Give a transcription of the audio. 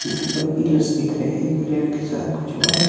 यहां पर पिलर्स दिख रहे हैं पिलर के साथ कुछ वायर --